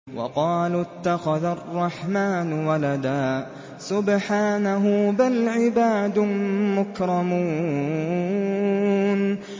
وَقَالُوا اتَّخَذَ الرَّحْمَٰنُ وَلَدًا ۗ سُبْحَانَهُ ۚ بَلْ عِبَادٌ مُّكْرَمُونَ